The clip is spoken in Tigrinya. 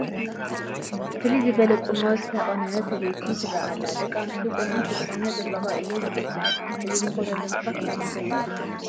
ፍልይ ዝበለ ቁኖ ዝተቖነነት በይቲ ትርአ ኣላ፡፡ ደቂ ኣንስትዮ ቁኖ እንተተቖኒነን ፅባቐ እዩ ዝፈሰን፡፡ እዚ ዝኾነሉ ምኽንያት ካብ ምንታይ ዝብገስ ይኾን?